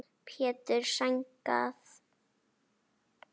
Pétur: Sængað?